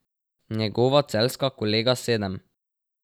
Njegova celjska kolega sedem.